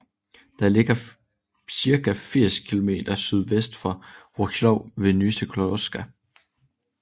Den ligger cirka 80 kilometer sydvest for Wrocław ved Nysa Kłodzka